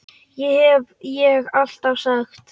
Það hef ég alltaf sagt.